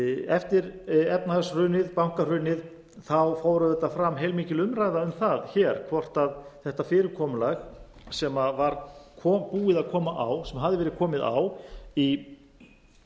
eftir bankahrunið fór auðvitað fram heilmikil umræða um það hér hvort þetta fyrirkomulag sem hafði verið komið á í